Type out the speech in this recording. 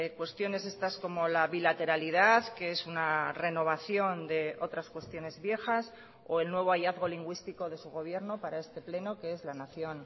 cuestiones estas como la bilateralidad que es una renovación de otras cuestiones viejas o el nuevo hallazgo lingüístico de su gobierno para este pleno que es la nación